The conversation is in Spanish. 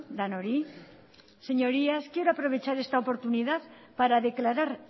denoi señorías quiero aprovechar esta oportunidad para declarar